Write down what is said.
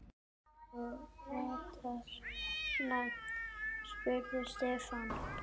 Þú ratar? spurði Stefán.